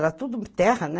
Era tudo terra, né?